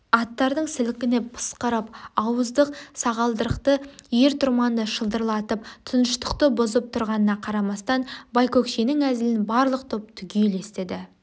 аттардың сілкініп пысқырап ауыздық-сағалдырықты ер-тұрманды шылдырлатып тыныштықты бұзып тұрғанына қарамастан байкөкшенің әзілін барлық топ түгел естіді